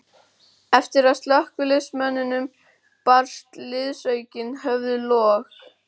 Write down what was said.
Eftir að slökkviliðsmönnunum barst liðsaukinn höfðu log